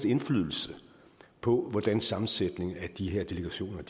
indflydelse på hvordan sammensætningen af de her delegationer